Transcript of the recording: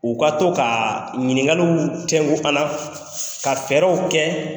U ka to ka ɲininkaliw tƐnku an na ka fɛƐrƐw kɛ